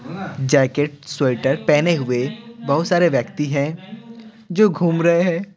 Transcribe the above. Jacket sweater पहने हुए बहुत सारे व्यक्ति हैं जो घूम रहे हैं।